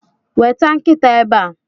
weta nkita ebea